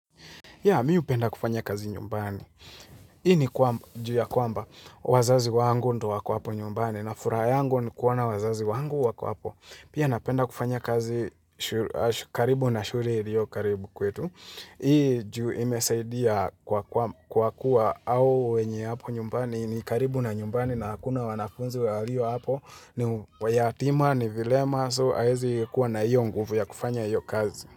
Ya, mimi hupenda kufanya kazi nyumbani. Hii ni juu ya kwamba, wazazi wangu ndio wako hapo nyumbani, na furaha yangu ni kuona wazazi wangu wako hapo. Pia napenda kufanya kazi, karibu na shule iliyo karibu kwetu. Hii juu imesaidia kwa kuwa au wenye hapo nyumbani, ni karibu na nyumbani na hakuna wanafunzi waliyo hapo, ni mayatima, ni vilema, kwa hiyo hawaezi kuwa na hiyo nguvu ya kufanya hiyo kazi.